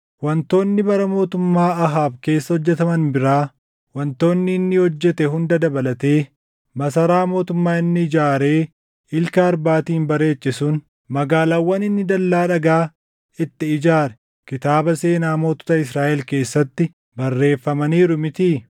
Wantoonni bara mootummaa Ahaab keessa hojjetaman biraa, wantoota inni hojjete hunda dabalatee, masaraa mootummaa inni ijaaree ilka arbaatiin bareeche sun, magaalaawwan inni dallaa dhagaa itti ijaare kitaaba seenaa mootota Israaʼel keessatti barreeffamaniiru mitii?